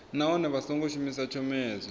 nahone vha songo shumisa tshomedzo